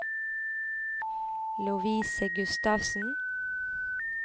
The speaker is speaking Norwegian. Lovise Gustavsen